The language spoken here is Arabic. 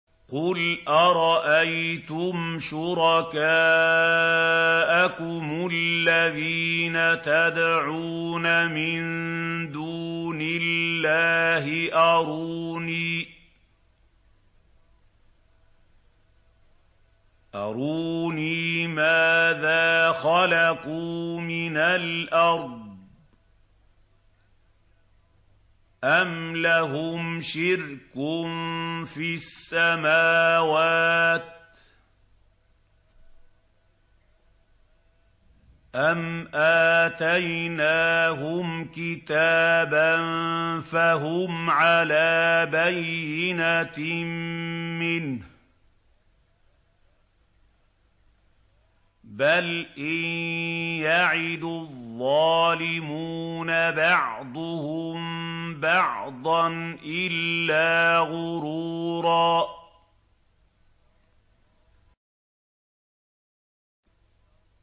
قُلْ أَرَأَيْتُمْ شُرَكَاءَكُمُ الَّذِينَ تَدْعُونَ مِن دُونِ اللَّهِ أَرُونِي مَاذَا خَلَقُوا مِنَ الْأَرْضِ أَمْ لَهُمْ شِرْكٌ فِي السَّمَاوَاتِ أَمْ آتَيْنَاهُمْ كِتَابًا فَهُمْ عَلَىٰ بَيِّنَتٍ مِّنْهُ ۚ بَلْ إِن يَعِدُ الظَّالِمُونَ بَعْضُهُم بَعْضًا إِلَّا غُرُورًا